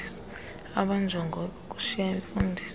abanjongo ikukushiya imfundiso